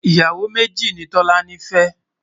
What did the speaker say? ìyàwó méjì nì tọ̀lání fé